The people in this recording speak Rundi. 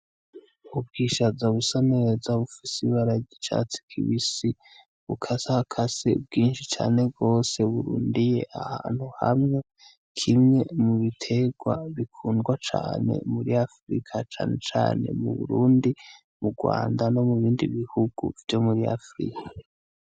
Ubwishaza busa neza bupfise ibara ryicatsi kibisi bukasakase bwinshi cane bwose burundiye ahantu hamwe kimwe mu biterwa bikundwa cane muri afrika canecane mu burundi, mu rwanda no mu bindi bihugu vyo muri afrika.